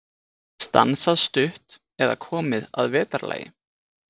Stansað stutt eða komið að vetrarlagi.